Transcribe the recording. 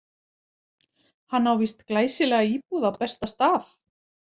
Hann á víst glæsilega íbúð á besta stað.